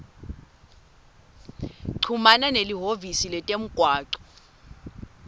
chumana nelihhovisi letemgwaco